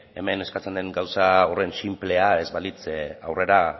hemen eskatzen den gauza horren sinplea ez balitz aurrera